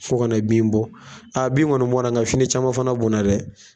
Fo ka na bin bɔ, bin kɔni bɔnna n ka fini caman fana bɔnna dɛ.